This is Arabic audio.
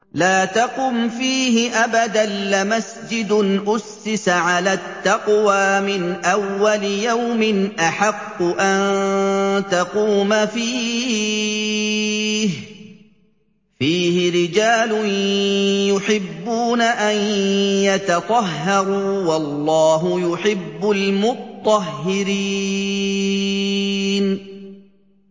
لَا تَقُمْ فِيهِ أَبَدًا ۚ لَّمَسْجِدٌ أُسِّسَ عَلَى التَّقْوَىٰ مِنْ أَوَّلِ يَوْمٍ أَحَقُّ أَن تَقُومَ فِيهِ ۚ فِيهِ رِجَالٌ يُحِبُّونَ أَن يَتَطَهَّرُوا ۚ وَاللَّهُ يُحِبُّ الْمُطَّهِّرِينَ